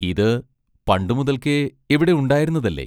ഇത് പണ്ടുമുതൽക്കേ ഇവിടെ ഉണ്ടായിരുന്നതല്ലേ?